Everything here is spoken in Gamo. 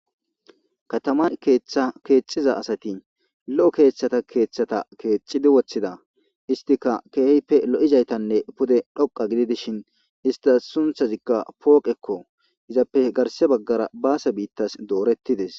Kataman keeththa keexxiza asati lo'o keeththata keeththata keexidi woththida istika keehippe lo'izaytanne pude dhoqa gidi dishin istas sunthazikka pooqekko izappe garse baggara baase biittas doorettides